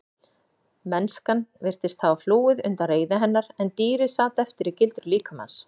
Mennskan virtist hafa flúið undan reiði hennar en dýrið sat eftir í gildru líkamans.